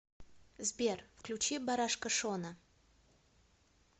сбер включи барашка шона